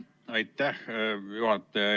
Aitäh, juhataja!